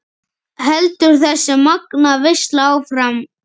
Heldur þessi magnaða veisla áfram?